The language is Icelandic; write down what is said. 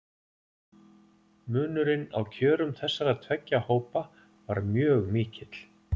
Munurinn á kjörum þessara tveggja hópa var mjög mikill.